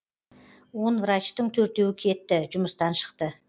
он врачтың төртеуі кетті жұмыстан шықты